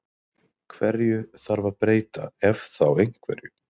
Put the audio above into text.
Hverju þarf að breyta ef þá einhverju?